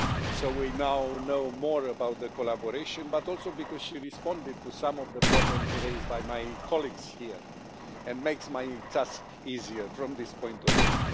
so we now know more about the collaboration, but also because she responded to some of the problems raised by my colleagues here and makes my task easier from this point of view.